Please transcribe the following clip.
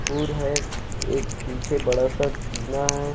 उर है एक पीछे बड़ा सा टीना है।